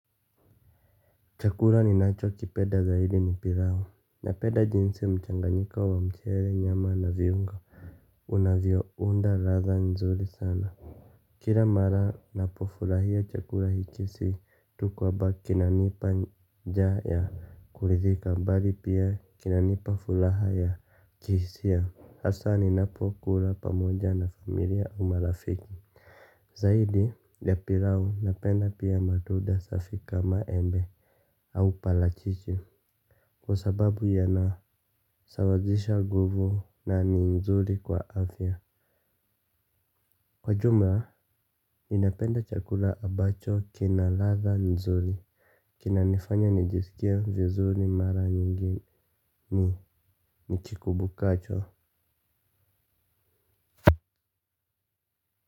Chakula ninachokipeda zaidi ni pilau. Napenda jinsi mchanganyiko wa mchele, nyama na viungo unavyounda ladha nzuri sana. Kila mara napofurahia chakula hiki si tu kwamba kinanipa njaa ya kurithika, bali pia kinanipa fulaha ya kihisia hasa ninapokula pamoja na familia au marafiki. Zaidi, ya pilau napenda pia matunda safi kama embe au palachichi, kwa sababu yanasawazisha nguvu na ni nzuri kwa afya. Kwa jumla, ninapenda chakula ambacho kina ladha nzuri. Kinanifanya nijisikie vizuri mara nyingi nikikumbukacho.